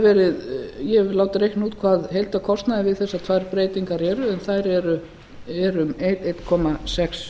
ég hef látið reikna út hvað heildarkostnaður við þessar tvær breytingar eru en þær eru um einn komma sex